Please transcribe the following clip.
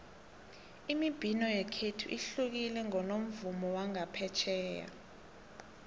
imibhino yekhethu ihlukile kunomvumo wangaphetjheya